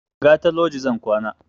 Gata loji zan kwana